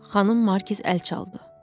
Xanım Markiz əl çaldı.